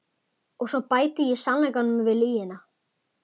Og svo bæti ég sannleikanum við lygina.